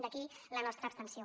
d’aquí la nostra abstenció